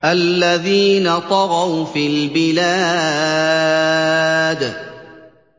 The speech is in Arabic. الَّذِينَ طَغَوْا فِي الْبِلَادِ